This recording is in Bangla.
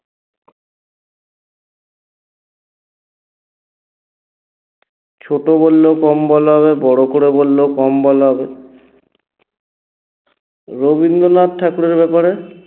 ছোট বললেও কম বলা হবে বড় করে বললেও কম বলা হবে রবিন্দ্রনাথ ঠাকুরের ব্যপারে